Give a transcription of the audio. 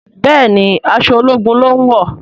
Béèni aṣọ ológun lón wọ.